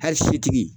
Hali setigi